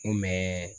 N kun bɛ